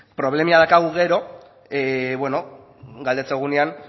problemilla dakagu gero galdetzen dugunean